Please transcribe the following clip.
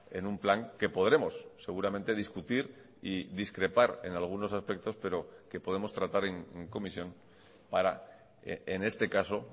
en un plan que podremos seguramente discutir y discrepar en algunos aspectos pero que podemos tratar en comisión para en este caso